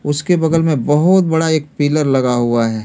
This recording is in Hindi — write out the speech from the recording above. उसके बगल में बहुत बड़ा एक पिलर लगा हुआ है।